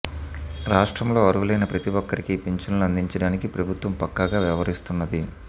రాష్ట్రంలో అర్హులైన ప్రతి ఒక్కరికీ పింఛన్లు అందించడానికి ప్రభుత్వం పక్కాగా వ్యవహరిస్తున్నది